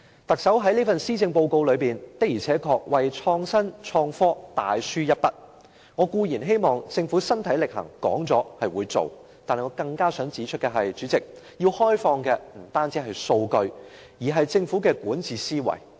特首這份施政報告的確為創新創科大書一筆，我固然希望政府身體力行，說得出做得到，但是主席，我更想指出，政府要開放的不僅是數據，而是管治思維。